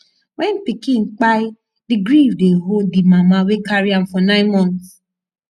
when pikin kpai di grief dey hold di mama wey carry am for nine months